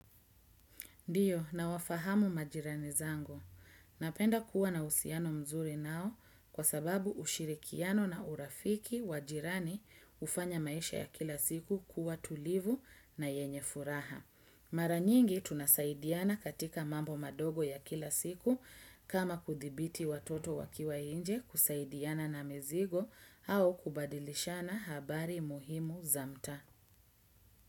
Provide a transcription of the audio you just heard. Ndiyo nawafahamu majirani zangu. Napenda kuwa na uhusiano mzuri nao kwa sababu ushirikiano na urafiki wa jirani hufanya maisha ya kila siku kuwa tulivu na yenye furaha. Mara nyingi tunasaidiana katika mambo madogo ya kila siku kama kudhibiti watoto wakiwa nje kusaidiana na mizigo au kubadilishana habari muhimu za mtaa.